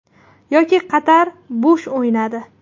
Yoki Qatar bo‘sh o‘ynadi.